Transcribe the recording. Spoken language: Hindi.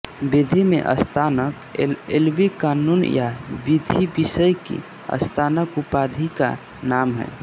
विधि में स्नातक एलएलबी क़ानून या विधि विषय की स्नातक उपाधि का नाम है